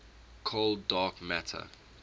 cold dark matter